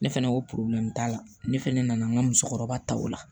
Ne fɛnɛ ko t'a la ne fɛnɛ nana n ka musokɔrɔba ta o la